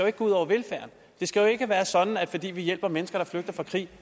ikke gå ud over velfærden det skal ikke være sådan at fordi vi hjælper mennesker der flygter fra krig